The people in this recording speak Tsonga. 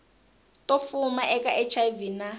to fuma eka hiv na